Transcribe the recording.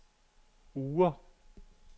Oure